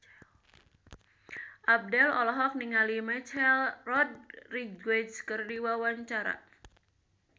Abdel olohok ningali Michelle Rodriguez keur diwawancara